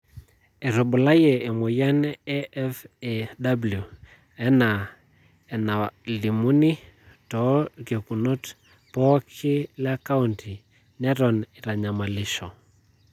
Etubulayie emoyian e FAW enaa enalimuni too irkekunot pooki le kaunti neton eitanyamalisho.